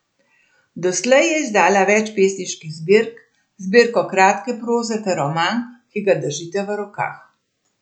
Doslej je izdala več pesniških zbirk, zbirko kratke proze ter roman, ki ga držite v rokah.